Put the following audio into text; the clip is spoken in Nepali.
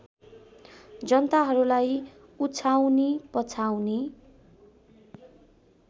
जनताहरूलाई उछाउनी पछाउनी